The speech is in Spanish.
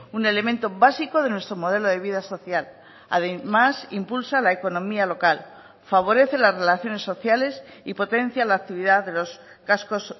un elemento básico de nuestro modelo de vida social además impulsa la economía local favorece las relaciones sociales y potencia la actividad de los cascos